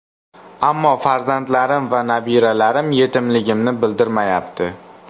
Ammo farzandlarim va nabiralarim yetimligimni bildirmayapti.